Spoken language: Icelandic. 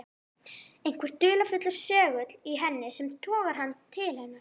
Einhver dularfullur segull í henni sem togar hann til hennar.